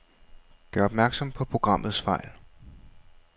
Gør opmærksom på programmets fejl.